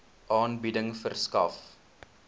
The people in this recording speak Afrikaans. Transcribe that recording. aanbieding verskaf